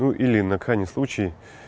ну или на крайний случай